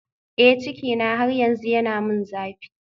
Eh cikina har yanzu yana min zafi